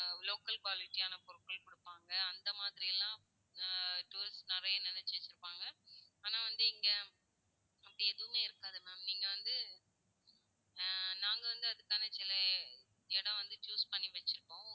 local quality யான பொருட்கள் கொடுப்பாங்க, அந்த மாதிரி எல்லாம் ஹம் tourist நிறைய நெனச்சிட்டு இருப்பாங்க. ஆனா வந்து இங்க, அப்படி எதுவுமே இருக்காது ma'am நீங்க வந்து, அஹ் நாங்க வந்து அதுக்கான சில, இடம் வந்து choose பண்ணி வச்சிருக்கோம்.